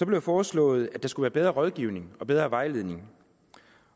det foreslået at der skulle være bedre rådgivning og bedre vejledning